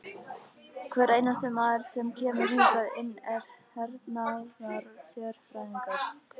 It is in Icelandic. Hver einasti maður sem kemur hingað inn er hernaðarsérfræðingur!